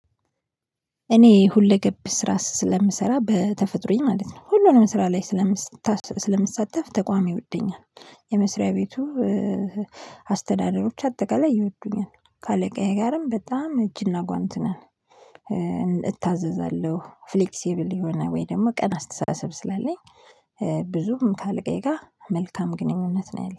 እኔ ሁለገብ ስራ ስለምሰራ በተፈጥሮዬ ማለት ነው። ሁሉንም ስራ ላይ ስለምሳተፍ ተቋም ይወደኛል የመስሪያ ቤቱ። አስተዳዳሪዎች አጠቃላይ ይወዱኛል ከአለቃዬ ጋርም በጣም እጅና ጓንት ነን። እታዘዛለሁ ፍሌክሲብል የሆነ ወይ ደግሞ ቀና አስተሳሰብ ስላለኝ ብዙም ካለቃዬ ጋር መልካም ግንኙነት ነው ያለኝ